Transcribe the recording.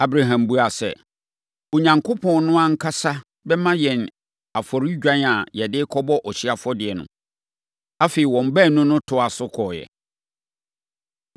Abraham buaa sɛ, “Onyankopɔn no ankasa bɛma yɛn afɔredwan a yɛde rekɔbɔ ɔhyeɛ afɔdeɛ no.” Afei, wɔn baanu no toaa so kɔeɛ.